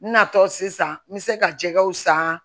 N natɔ sisan n bɛ se ka jɛgɛw san